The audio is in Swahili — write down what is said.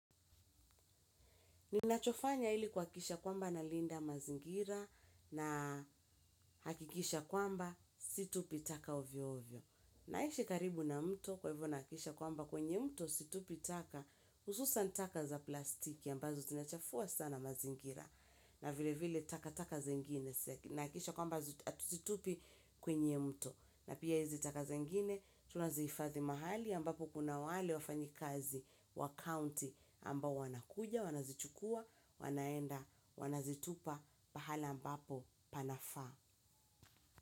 Ninachofanya ili kuhakikisha kwamba nalinda mazingira na hakikisha kwamba situpi taka uvyo uvyo. Naishi karibu na mto kwa hivyo nahakikisha kwamba kwenye mto situpi taka hususan taka za plastiki ambazo zinachafua sana mazingira na vile vile taka taka zingine nahakisha kwamba situpi kwenye mto. Na pia hizi taka zengine tunazihifadhi mahali ambapo kuna wale wafanyikazi wa county ambao wanakuja, wanazichukua wanaenda wanazitupa pahala ambapo panafaa.